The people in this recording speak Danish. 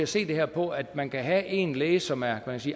se det her på at man kan have en læge som er